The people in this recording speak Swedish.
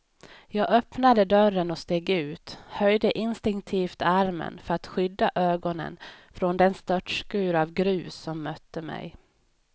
Jag öppnade dörren och steg ut, höjde instinktivt armen för att skydda ögonen från den störtskur av grus som mötte mig.